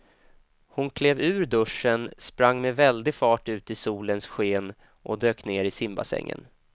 Hon klev ur duschen, sprang med väldig fart ut i solens sken och dök ner i simbassängen.